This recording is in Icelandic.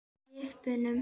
Lyfti brúnum.